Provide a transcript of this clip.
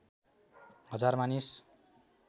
हजार मानिस